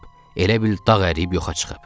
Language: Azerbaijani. Elə bil dağ əriyib yoxa çıxıb.